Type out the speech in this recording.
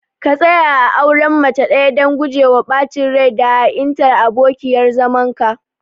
ka tsaya a auren mace ɗaya dan gujewa ɓacin rai da ha'intar abokiyar zamanka.